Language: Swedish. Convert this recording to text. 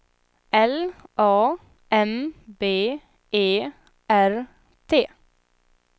L A M B E R T